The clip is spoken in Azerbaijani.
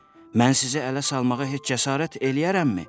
Mən sizi ələ salmağa heç cəsarət eləyərəmmi?